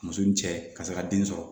Muso ni cɛ ka se ka den sɔrɔ